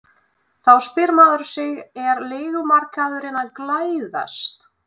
Þá spyr maður sig er leigumarkaðurinn að glæðast?